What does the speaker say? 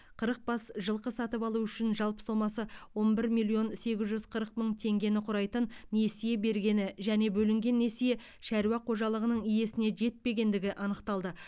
қырық бас жылқы сатып алу үшін жалпы сомасы он бір миллион сегіз жүз қырық мың теңгені құрайтын несие бергені және бөлінген несие шаруа қожалығының иесіне жетпегендігі анықталды